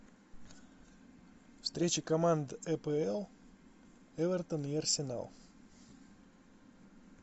встреча команд апл эвертон и арсенал